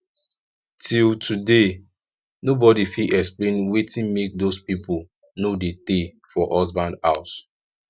till today nobody fit explain wetin make doz people no dey tay for husband house